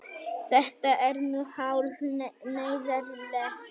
Þetta er nú hálf neyðarlegt.